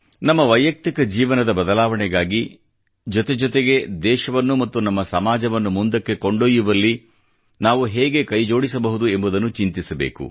ನಮ್ಮ ವೈಯಕ್ತಿಕ ಜೀವನದ ಬದಲಾವಣೆಗಾಗಿ ಜೊತೆ ಜೊತೆಗೆ ದೇಶವನ್ನು ಮತ್ತು ನಮ್ಮ ಸಮಾಜವನ್ನು ಮುಂದಕ್ಕೆ ಕೊಂಡೊಯ್ಯುವಲ್ಲಿ ನಾವು ಹೇಗೆ ಕೈಜೋಡಿಸಬಹುದು ಎಂಬುದನ್ನು ಚಿಂತಿಸಬೇಕು